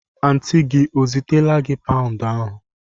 Antịị gị ọ zitela gị paụnd ahụ?